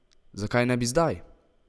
Zakaj ne bi zdaj?